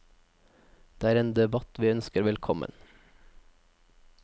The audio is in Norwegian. Det er en debatt vi ønsker velkommen.